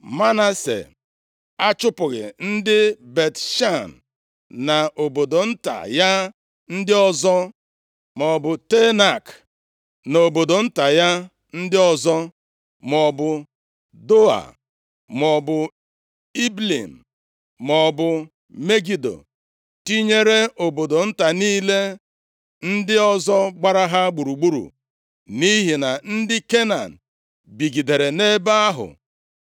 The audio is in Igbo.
Manase achụpụghị ndị Bet-Shan na obodo nta ya ndị ọzọ, maọbụ Teanak na obodo nta ya ndị ọzọ, maọbụ Doa, maọbụ Ibleam, maọbụ Megido, tinyere obodo nta niile ndị ọzọ gbara ha gburugburu. Nʼihi na ndị Kenan bigidere nʼebe ahụ.